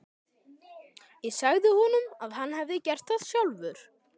Ég sagði honum að hann hefði gert það sjálfur.